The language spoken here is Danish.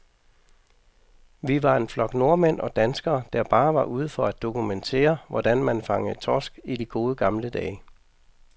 Vi var en flok nordmænd og danskere, der bare var ude for at dokumentere, hvordan man fangede torsk i de gode, gamle dage.